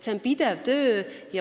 See on pidev töö.